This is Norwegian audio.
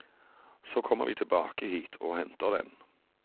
Så kommer vi tilbake hit og henter den.